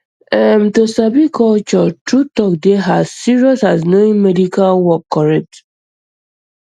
erm to sabi culture true talk dey as serious as knowing medical work correct